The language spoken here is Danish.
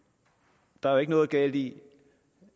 der er jo ikke noget galt i